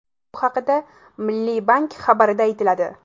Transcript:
Bu haqda Milliy bank xabarida aytiladi .